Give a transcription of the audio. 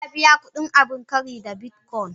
Na biya kudin abin kari da bitcoin.